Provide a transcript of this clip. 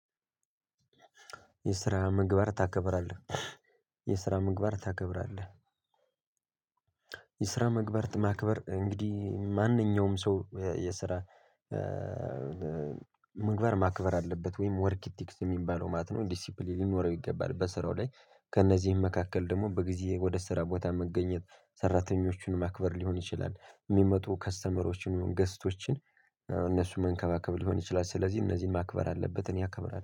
የስራ ምግባር ታከብራለህ? የስራ ምግባር ታከብራለህ መግበርት ማክበር እንግዲህ ማንኛውም ሰው የስራ ምግባር ማክበር አለበት ወይም ወርክኢቲክስ የሚባለው ማለት ነው። ዲሲፕሊን ሊኖረው ይገባል በስራው ላይ ከእነዚህም መካከል ደግሞ በጊዜ ወደ ስራ ቦታ መገኘት ሰራተኞችን ማክበር ሊሆን ይችላል። የሚመጡ ከስተመሮችን ገስቶችን እነሱን መንከባከብ ሊሆን ይችላል። ስለዚህ እነዚህን ማክበር አለበት እኔ አከብራለሁ